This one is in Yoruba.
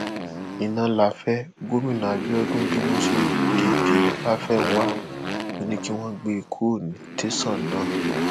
iná láfẹ gómìnà àbídọdún bínú sí dp láfẹnwá ò ní kí wọn gbé e kúrò ní tẹsán náà